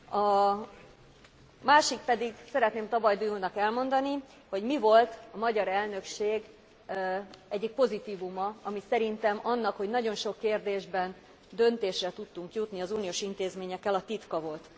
A másik pedig, szeretném Tabajdi úrnak elmondani, hogy mi volt a magyar elnökség egyik pozitívuma, ami szerintem annak, hogy nagyon sok kérdésben döntésre tudtunk jutni az uniós intézményekkel a titka volt.